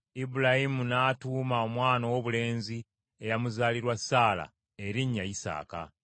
Ibulayimu n’atuuma omwana owoobulenzi, eyamuzaalirwa Saala, erinnya Isaaka.